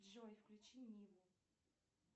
джой включи ниву